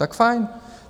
Tak fajn.